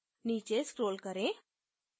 नीचे scroll करें